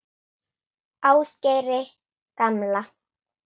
Ásgeiri gamla.